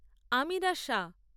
Amira Shah